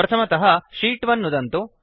प्रथमतः शीत् 1 नुदन्तु